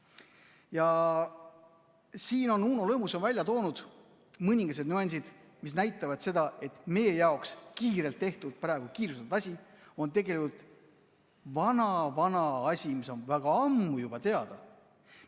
Ja siin on Uno Lõhmus välja toonud mõningased nüansid, mis näitavad seda, et meie jaoks kiirelt tehtud, praegu kiirustatud asi on tegelikult vana-vana asi, mis on väga ammu juba teada.